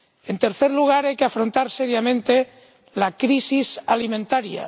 En tercer lugar, hay que afrontar seriamente la crisis alimentaria.